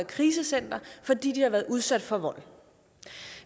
krisecenter fordi de har været udsat for vold